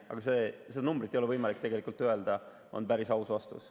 Aga seda numbrit ei ole võimalik öelda, on päris aus vastus.